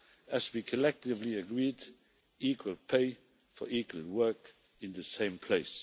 As we collectively agreed equal pay for equal work in the same place.